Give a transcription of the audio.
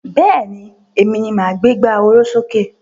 Bẹ́ẹ̀ni, Èmi ni máa gbé ìgbà oró sókè